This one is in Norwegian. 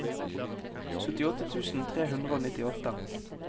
syttiåtte tusen tre hundre og nittiåtte